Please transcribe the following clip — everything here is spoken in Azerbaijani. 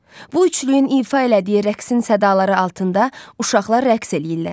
Bu üçlüyün ifa elədiyi rəqsin sədaları altında uşaqlar rəqs eləyirlər.